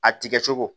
A tigɛ cogo